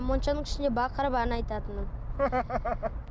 моншаның ішінде бақырып ән айтатынмын